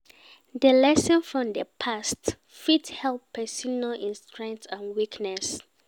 Di lesson from di past fit help person know im strength and weaknesses